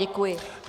Děkuji.